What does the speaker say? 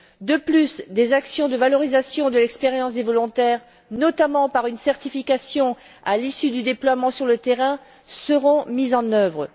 De plus, des actions de valorisation de l'expérience des volontaires, notamment par une certification à l'issue du déploiement sur le terrain, seront mises en œuvre.